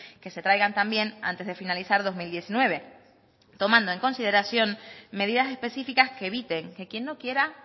que se traigan también antes de finalizar dos mil diecinueve tomando en consideración medidas específicas que eviten que quien no quiera